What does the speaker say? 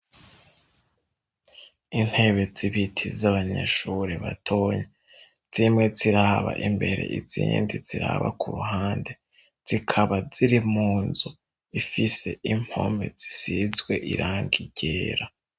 Iintebe zibiti z'abanyeshuri batonyi, zimwe ziraba imbere izindi ziraba ku ruhande. Zikaba ziri munzu ifise impome zisizwe irangi ryera.